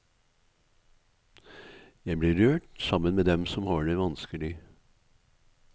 Jeg blir rørt sammen med dem som har det vanskelig.